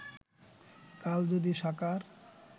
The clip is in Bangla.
কাল যদি সাকার